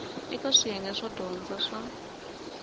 eka swiyenge swo dyondza swo